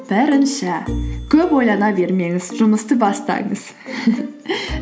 бірінші көп ойлана бермеңіз жұмысты бастаңыз